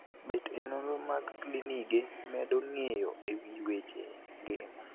Bet e nonro mag klinigek medo ng'eyo ewii weche ngima.